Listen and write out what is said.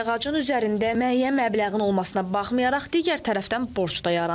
Sayğacın üzərində müəyyən məbləğin olmasına baxmayaraq, digər tərəfdən borc da yaranır.